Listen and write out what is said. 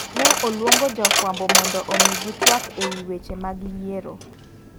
Ne oluongo jofwambo mondo omigi tuak ewi weche mag yiero.